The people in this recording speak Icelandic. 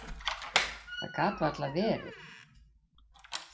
Það gat varla verið.